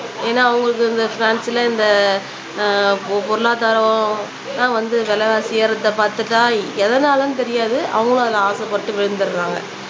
ஏன்னா அவங்களுக்கு இந்த இந்த ஆஹ் பொ பொருளாதாரம் வந்து விலைவாசி ஏறுறதை பார்த்துட்டா எதனாலன்னு தெரியாது அவங்களும் அதுல ஆசைப்பட்டு விழுந்துடுறாங்க